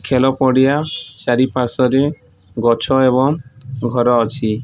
ଖେଲ ପଡ଼ିଆ ଚାରି ପାର୍ଶ୍ୱରେ ଗଛ ଏବଂ ଘର ଅଛି।